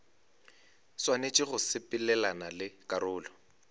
swanetše go sepelelana le karolo